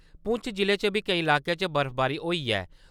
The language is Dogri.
पुंछ जिले च बी केई लाकें च बर्फबारी होई ऐ।